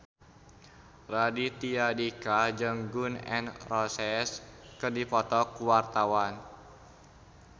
Raditya Dika jeung Gun N Roses keur dipoto ku wartawan